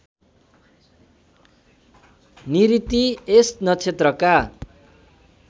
निऋति यस नक्षत्रका